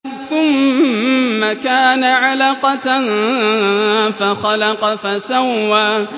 ثُمَّ كَانَ عَلَقَةً فَخَلَقَ فَسَوَّىٰ